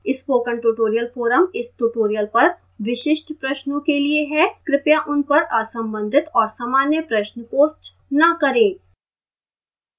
spoken tutorial forum इस tutorial पर विशिष्ट प्रश्नों के लिए है